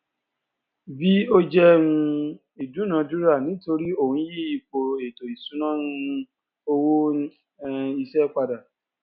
v ò jẹ um ìdúnadúrà nítorí ó ń yí ipò ètò ìṣúná um owó um iṣẹ pada